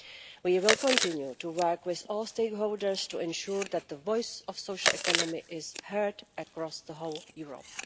We will continue to work with all stakeholders to ensure that the voice of the social economy is heard across the whole of Europe.